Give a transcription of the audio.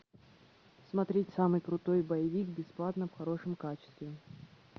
смотреть самый крутой боевик бесплатно в хорошем качестве